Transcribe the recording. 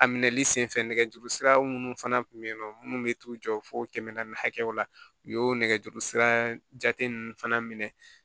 A minɛli sen fɛ nɛgɛjuru siraw minnu fana kun bɛ yen nɔ minnu bɛ t'u jɔ fo kɛmɛ naani hakɛw la u y'o nɛgɛjuru sira jate ninnu fana minɛ